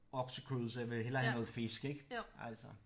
Oksekød så jeg vil hellere have noget fisk ik altså